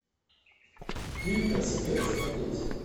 фильм такси пять смотреть